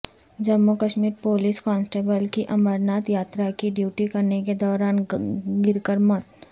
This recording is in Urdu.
جموں کشمیر پولیس کانسٹبل کی امرناتھ یاترا کی ڈیوٹی کرنے کے دوران گر کر موت